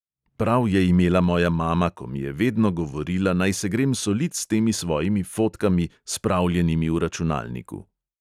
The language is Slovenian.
Prav je imela moja mama, ko mi je vedno govorila, naj se grem solit s temi svojimi fotkami, spravljenimi v računalniku.